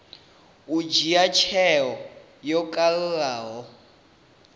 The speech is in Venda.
u dzhia tsheo yo kalulaho